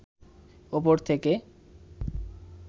উপর থেকে